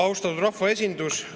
Austatud rahvaesindus!